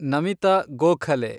Namita Gokhale